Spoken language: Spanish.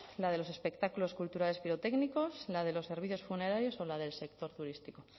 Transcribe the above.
la de los espectáculos culturales pirotécnicos la de los servicios funerarios o la del sector turístico